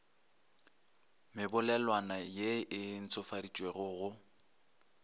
mebolelwana ye e ntšhofaditšwego go